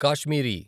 Kashmiri